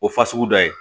O fasugu dɔ ye